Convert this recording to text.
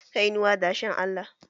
Kainuwan dashen Allah